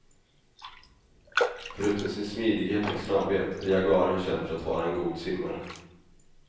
Förutom sin smidighet och snabbhet är jaguaren känd för att vara en god simmare.